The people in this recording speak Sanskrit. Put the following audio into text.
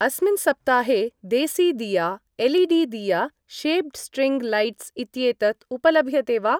अस्मिन् सप्ताहे देसीदीया एल्.ई.डी.दीया शेप्ड् स्ट्रिङ्ग् लैट्स् इत्येतत् उपलभ्यते वा?